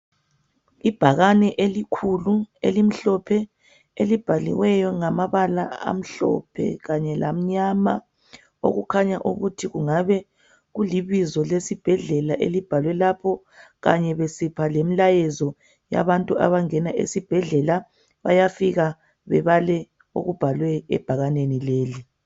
Ibhakane elikhulu elimhlophe elibhaliweyo ngamabala amhlophe kanye ngamnyama. Okukhanya ukuthi kungabe kulibizo lesibhedlela elibhalwe lapho kanye besipha lemilayezo yabantu abangena esibhedlela . Bayafika bebale okubhalwe ebhakaneni leli.